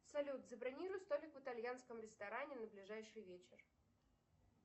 салют забронируй столик в итальянском ресторане на ближайший вечер